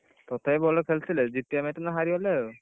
ତଥାବି ଭଲ ଖେଳିଥିଲେ ଜିତିବା match ଟା ହାରି ଗଲେ ଆଉ,